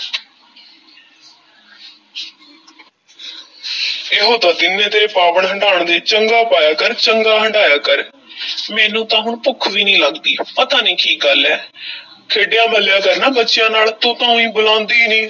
ਇਹੋ ਤਾਂ ਦਿਨ ਨੇ ਤੇਰੇ ਪਾਵਣ-ਹੰਢਾਣ ਦੇ, ਚੰਗਾ ਪਾਇਆ ਕਰ, ਚੰਗਾ ਹੰਢਾਇਆ ਕਰ ਮੈਨੂੰ ਤਾਂ ਹੁਣ ਭੁੱਖ ਵੀ ਨੀ ਲੱਗਦੀ, ਪਤਾ ਨੀ ਕੀ ਗੱਲ ਹੈ ਖੇਡਿਆ-ਮੱਲ੍ਹਿਆ ਕਰ ਨਾ ਬੱਚਿਆਂ ਨਾਲ, ਤੂੰ ਤਾਂ ਊਈਂ ਬੁਲਾਂਦੀ ਨੀ।